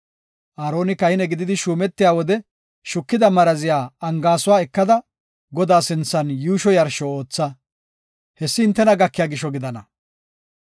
Aaroni kahine gididi shuumetiya wode shukida maraziya angaasuwa ekada, Godaa sinthan yuusho yarsho ootha. Hessi hintena gakiya gisho gidana.